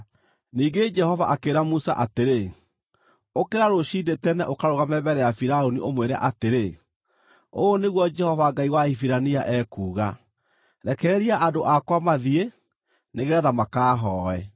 Ningĩ Jehova akĩĩra Musa atĩrĩ, “Ũkĩra rũciinĩ tene, ũkarũgame mbere ya Firaũni ũmwĩre atĩrĩ, ‘Ũũ nĩguo Jehova Ngai wa Ahibirania ekuuga: Rekereria andũ akwa mathiĩ, nĩgeetha makahooe,